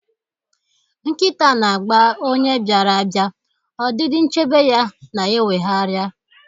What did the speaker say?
Nkịta na-agba onye bịara abịa, ọdịdị nchebe ya na-eweghara.